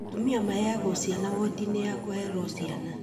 Atumia maheagwo ciana wodi-inĩ ya kũherwo ciana